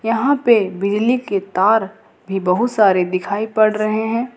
यहां पे बिजली के तार भी बहुत सारे दिखाई पड़ रहे हैं।